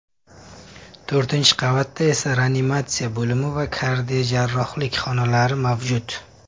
To‘rtinchi qavatda esa reanimatsiya bo‘limi va kardiojarrohlik xonalari mavjud.